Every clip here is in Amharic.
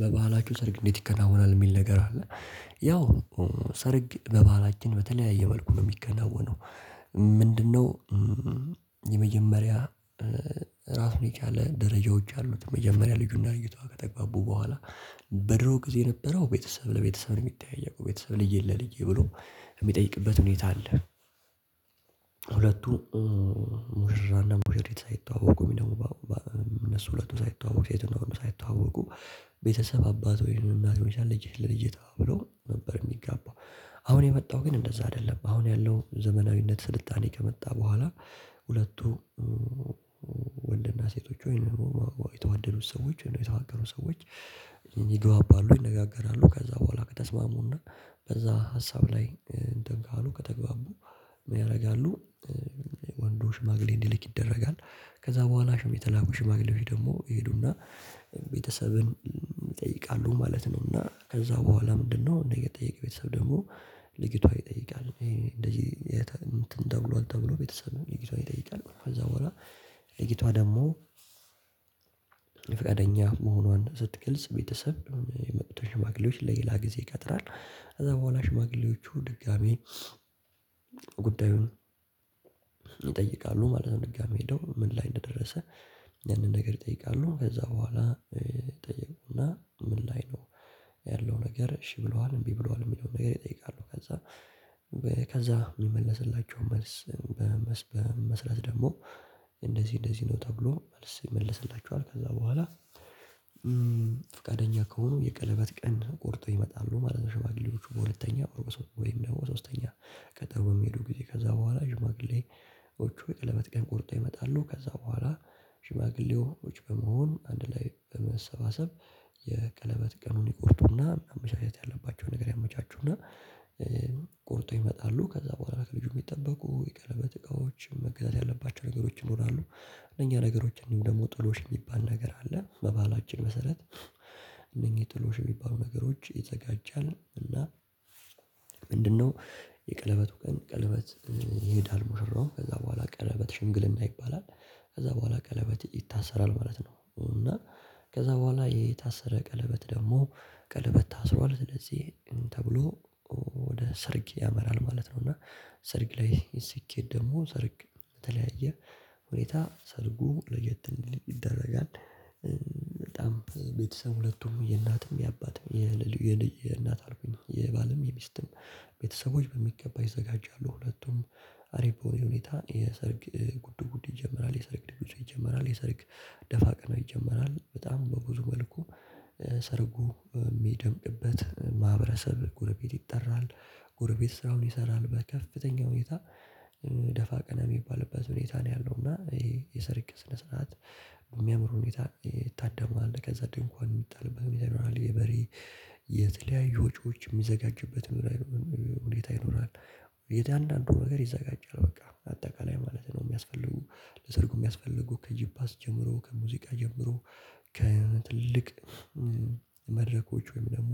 በባህላችሁ ሰርግ እንዴት ይከናወናል የሚል ነገር አለ ያው ሰርግ በባህላችን በተለያየ መልኩ ነው የሚከናወነው። ምንድነው? የመጀመሪያ ራሱን የቻለ ደረጃዎች አሉት መጀመሪያ ልጁና ልጅቷ ከተግባቡ በኋላ በድሮ ጊዜ የነበረው ቤተሰብ ለቤተሰብ ነው የሚጠያየቀው ቤተሰብ ልጅህን ለልጄ ብሎ የሚጠይቅበት ሁኔታ አለ። ሁለቱ ሙሽራና ሙሽሪት ሳይተዋወቁ ወይም ደግሞ እነሱ ሁለቱ ሳይተዋወቁ ሴትና ወንዱ ሳይተዋወቁ ቤተሰብ አባት ወይም እናት ሊሆን ይችላል ልጅ ለልጅቷ ብሎ ነበር የሚጋባው። አሁን የመጣው ግን እንደዛ አይደለም አሁን ያለው ዘመናዊነት ስልጣኔ ከመጣ በኋላ ሁለቱ ወንድና ሴቶቹ ወይንም የተዋደዱት ሰዎች የተፋቀሩት ሰዎች ይግባባሉ ይነጋገራሉ ከዛ በኋላ ከተስማሙና በዛ ሀሳብ ላይ እንትን ካሉ ከተግባቡ ምን ያደርጋሉ? ወንዱ ሽማግሌ እንዲልክ ይደረጋል ከዛ በኋላ የተላኩ ሽማግሌዎች ደግሞ ይሄዱና ቤተሰብን ይጠይቃሉ ማለት ነው። እና ከዛ በኋላ ምንድነው የጠያቂ ቤተሰብ ደግሞ ልጅቷን ይጠይቃል እንደዚህ እንትን ተብሏል ተብሎ ቤተሰብ ነው ልጅቷን ይጠይቃል ከዛ በኋላ ልጅቷ ደግሞ ፍቃደኛ መሆኗን ስትግልጽ ቤተሰብ የመጡትን ሽማግሌዎች ለሌላ ጊዜ ይቀጥራል። ከዛ በኋላ ሽማግሌዎቹ ድጋሚ ጉዳዩን ይጠይቃሉ ማለት ነው። ድጋሚ ሄደው ምን ላይ እንደደረሰ ያንን ነገር ይጠይቃሉ ከዛ በኋላ ይጠይቁና ምን ላይ ነው ያለው ነገር እሺ ብለዋል እምቢ ብለዋል የሚለውን ነገር ይጠይቃሉ ከዛ ከዛ የሚመለስላቸውን መልስ መሰረት ደግሞ እንደዚህ እንደዚህ ነው ተብሎ መልስ ይመልስላቸዋል። ከዛ በኋላ ፍቃደኛ ከሆኑ የቀለበት ቀን ቆርጠው ይመጣሉ። ማለት ሸማግሌዎቹ በሁለተኛ ወይም ደግሞ ብሶስተኛ ቀጠሮ በሚሄዱ ጊዜ ከዛ በኋላ ሽማግሌዎቹ የቀለበት ቀን ቆርጠው ይመጣሉ ከዛ በኋላ ሽማግሌዎች በመሆኑ አንድ ላይ በመሰባሰብ የቀለበት ቀኑን ይቆርጡና መመቻቸት ያለባቸውን ነገር ያመቻቹና ቆርጠው ይመጣሉ። ከዛ በኋላ ከልጁ የሚጠበቁ የቀለበት እቃዎች መገዛት ያለባቸው ነገሮች ይኖራሉ። እነኛ ነገሮች እንዲሁም ደግሞ ጥሎሽ የሚባል ነገር አለ። በባህላችን መሰረት እነኚህ ጥሎሽ የሚባሉ ነገሮች ይዘጋጃል እና ምንድነው? የቀለበቱ ቀን ቀለበት ይሄዳል ሙሽራውም ከዛ በኋላ ቀለበት ሽምግልና ይባላል። ከዛ በኋላ ቀለበት ይታሰራል ማለት ነው። እና ከዛ በኋላ የታሰረ ቀለበት ደግሞ ቀለበት ታስሯል ስለዚህ ተብሎ ወደ ሰርግ ያመራል ማለት ነው። እና ሰርግ ላይ ሲኬድ ደግሞ ሰርግ በተለያየ ሁኔታ ሰርጉ ለየት እንዲል ይደረጋል። በጣም ቤተሰብ ሁለቱም የእናትም የአባትም የባልም ሚስትም ቤተሰቦች በሚገባ ይዘጋጃሉ ሁለቱም አሪፍ በሆነ ሁኔታ የሰርግ ጉድ ጉድ ይጀመራል የሰርግ ድግሱ ይጀመራል የሰርግ ደፋ ቀናው ይጀመራል። በጣም በብዙ መልኩ ሰርጉ የሚደምግበት ማህበረሰብ ጎረቤት ይጠራል ጎረቤት ስራውን ይሰራል በከፍተኛ ሁኔታ ደፋ ቀና የሚባልበት ሁኔታ ነው። ያለው እና ይሄ የሰርግ ስነ ስርዓት በሚያምሩ ሁኔታ ይታደማል ከዛ ድንኳን የሚጣልበት ሁኔታ ይኖራል የበሬ የተለያዩ ወጪዎች የሚዘጋጅበት ሁኔታ ይኖራል። እያንዳንዱ ነገር ይዘጋጃል በቃ አጠቃላይ ማለት ነው የሚያስፈልጉ ለሰርጉ የሚያስፈልጉ ከጂፓስ ጀምሮ ከሙዚቃ ጀምሮ ከትልቅ መድረኮች ወይም ደግሞ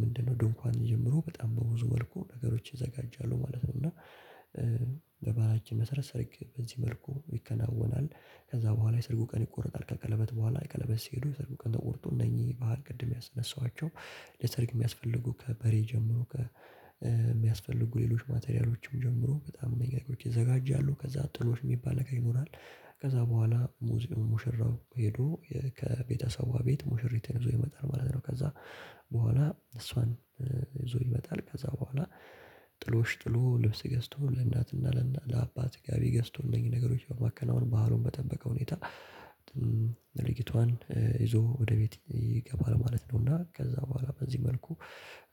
ምንድነው ድንኳን ጀምሮ በጣም በብዙ መልኩ ነገሮች ይዘጋጃሉ ማለት ነው። እና በባህላችን መሰረት ሰርግ በዚህ መልኩ ይከናወናል። ከዛ በኋላ የሰርጉ ቀን ይቆረጣል ከቀለበት በኋላ የቀለበት ሲሄዱ የሰርጉ ቀን ተቆርጦ እነኚህ ባህል ቅድም ያነሃኋቸው ለሰርግ የሚያስፈልጉ ከበሬ ጀምሮ ከሚያስፈልጉ ሌሎች ማቴሪያሎችም ጀምሮ በጣም መንገዶች ይዘጋጃሉ ከዛ ጥሎሽ የሚባል ነገር ይኖራል። ከዛ በኋላ ሙሽራው ሄዶ ከቤተሰቧ ቤት ሙሽሪት ይዞ ይመጣል ማለት ነው። ከዛ በኋላ እሷን ይዞ ይመጣል ከዛ በኋላ ጥሎሽ ጥሎ ልብስ ገዝቶ ለእናትና ለእናት ለአባት ጋቢ ገዝቶ እነኚህን ነገሮች በማከናወን ባህሩን በጠበቀ ሁኔታ ይዞ ወደ ቤት ይገባል ማለት ነው። እና ከዛ በኋላ በዚህ መልኩ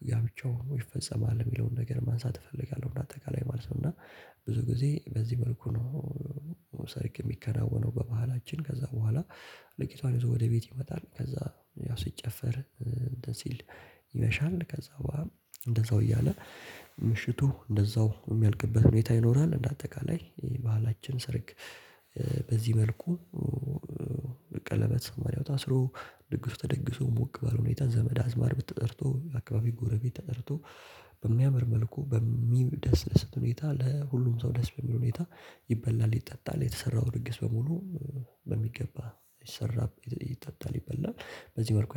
ጋብቻው ይፈጸማል የሚለውን ነገር ማንሳት እፈልጋለሁ እና አጠቃላይ ማለት ነው። እና ብዙ ጊዜ በዚህ መልኩ ነው። ሰርግ የሚከናወነው በባህላችን ከዛ በኋላ ልጅቷን ይዞ ወደ ቤት ይመጣል ከዛ ያ ሲጨፈር እንትን ሲል ይመሻል ከዛ በኋላ እንደዛው እያለ ምሽቱ እንደዛው የሚያልቅበት ሁኔታ ይኖራል። እንደ አጠቃላይ ባህላችን ሰርግ በዚህ መልኩ ቀለበት ማርያም ታስሮ ድግሱ ተደግሶ ሞቅ ባለ ሁኔታ ዘመድ አዝማድ ብትጠርቶ አካባቢ ጎረቤት ተጠርቶ በሚያምር መልኩ በሚደሳስት ሁኔታ ለሁሉም ሰው ደስ በሚል ሁኔታ ይበላል ይጠጣል የተሰራው ድግስ በሙሉ በሚገባ ይሰራል። ይጠጣል ይበላል በዚህ መልኩ